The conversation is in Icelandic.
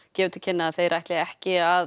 gefur til kynna að þeir ætli ekki að